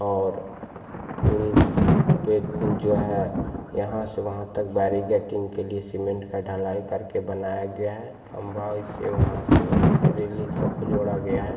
--और पूल पे को जो है यहाँ से वहाँ तक गैटिंग के लिए सीमेंट का ढलाई करके बनाया गया है खम्भा यहाँ से वहाँ से सबको जोड़ा गया है।